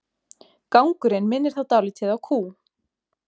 Gangurinn minnir þá dálítið á kú.